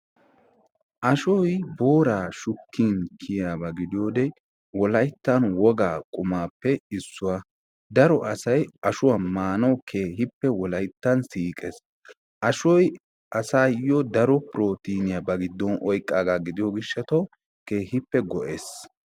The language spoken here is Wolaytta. aashshoy booraa shuukin kiyaaba giidiyoode wollayttan wogaa qummappe issuwaa. daaro asay ashshuwaa maanaw keehippe wollaytan siiqqees. ashshoy asaayo daro protiniyaa ba giddon oyqqaagaa gidiyoo giishshataw keehippe go'ees.